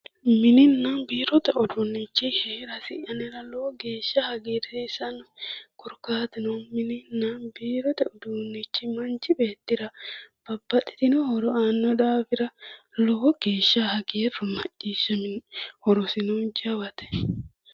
Mininna biirote uduunicho heerasi anera lowo geeshsha hagiirsisano korkaatuno mininna biirote uduuni manchi beettira babbaxitino horo aano daafira lowo geeshsha hagiiru macciishshaminoe, horosino jawate.